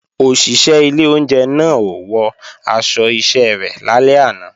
Òṣìṣẹ́ ilé oúnjẹ náà ò wọ aṣọ iṣẹ́ rẹ̀ lálẹ́ àná